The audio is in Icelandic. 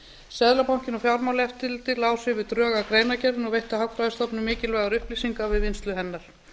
seðlabanka og fjármálaeftirlitið lásu yfir drög að greinargerðinni og veittu hagfræðistofnun mikilvægar upplýsingar við vinnslu hennar